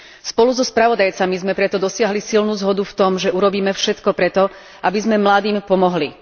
Spolu so spravodajcami sme preto dosiahli silnú zhodu v tom, že urobíme všetko preto, aby sme mladým pomohli.